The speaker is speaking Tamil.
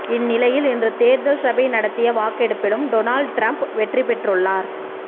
இந்நிலையில் இன்று தேர்தல் சபை நடத்திய வாக்கெடுப்பிலும் டொனால்ட் ட்ரம்ப் வெற்றி பெற்றுள்ளார்